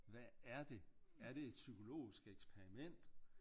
Hvad er det er det et psykologisk eksperiment?